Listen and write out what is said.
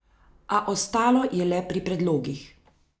A ostalo je le pri predlogih.